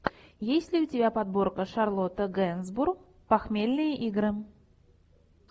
есть ли у тебя подборка шарлотта генсбур похмельные игры